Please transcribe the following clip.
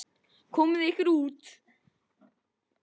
Komiði ykkur út.